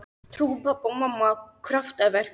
Trúðu pabbi og mamma á kraftaverk?